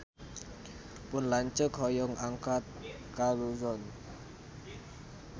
Pun lanceuk hoyong angkat ka Luzon